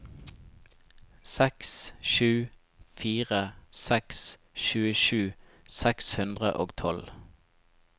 seks sju fire seks tjuesju seks hundre og tolv